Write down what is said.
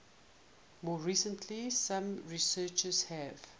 more recently some researchers have